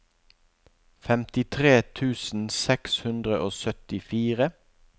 femtitre tusen seks hundre og syttifire